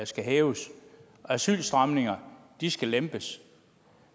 skal hæves og at asylstramningerne skal lempes